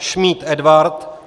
Šmíd Edvard